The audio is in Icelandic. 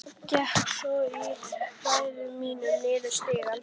Gekk svo í hægðum mínum niður stigann.